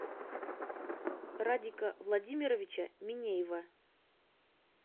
радика владимировича минеева